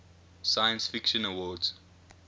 science fiction awards